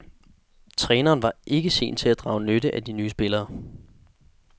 Træneren var ikke sen til at drage nytte af de nye spillere.